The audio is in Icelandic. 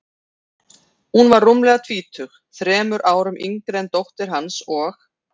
Hún var rúmlega tvítug, þremur árum yngri en dóttir hans, og